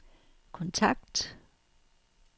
kontakt